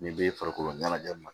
Nin bɛ farikolo ɲɛnajɛ